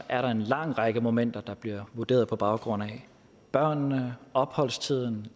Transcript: er en lang række momenter der bliver vurderet på baggrund af børnene opholdstiden